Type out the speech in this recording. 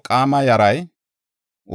Hasuma yaray 223;